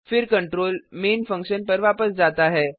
फिर control main function पर वापस जाता है